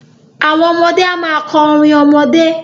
Àwọn ọmọdé a máa kọ orin ọmọdé.